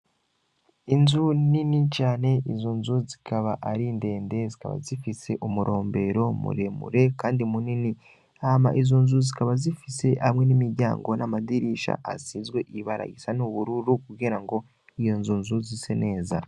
Inzu nini cane izu nzu zikaba ari ndende zikaba zifise umurombero muremure, kandi munini ama izunzu zikaba zifise hamwe n'imiryango n'amadirisha asizwe ibaragisa n'ubururu kugera ngo iyo nzunzu zise neza.